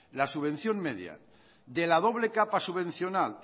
la subvención media de la doble capa subvencional